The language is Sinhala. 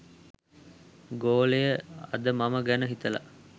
ගෝලය අද මම ගැන හිතලා